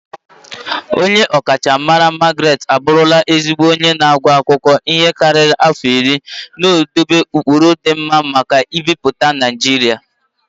Onye ọkachamara Margaret abụrụla ezigbo onye na-agụ akwụkwọ ihe karịrị afọ iri, na-edobe ụkpụrụ ịdị mma maka mbipụta Naijiria.